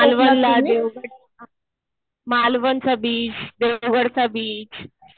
मालवणला, देवगडला. मालवणचा बीच, देवगडचा बीच.